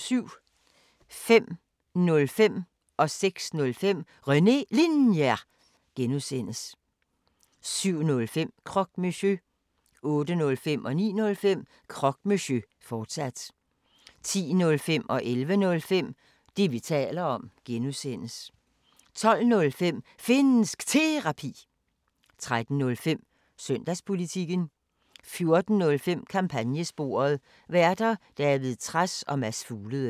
05:05: René Linjer (G) 06:05: René Linjer (G) 07:05: Croque Monsieur 08:05: Croque Monsieur, fortsat 09:05: Croque Monsieur, fortsat 10:05: Det, vi taler om (G) 11:05: Det, vi taler om (G) 12:05: Finnsk Terapi 13:05: Søndagspolitikken 14:05: Kampagnesporet: Værter: David Trads og Mads Fuglede